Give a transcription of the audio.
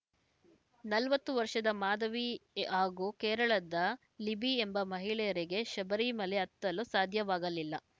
ನಲವತ್ತು ವರ್ಷದ ಮಾಧವಿ ಹಾಗೂ ಕೇರಳದ ಲಿಬಿ ಎಂಬ ಮಹಿಳೆಯರಿಗೆ ಶಬರಿಮಲೆ ಹತ್ತಲು ಸಾಧ್ಯವಾಗಲಿಲ್ಲ